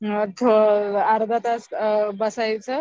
अर्धा तास बसायचं